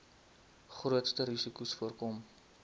grootste risikos voorkom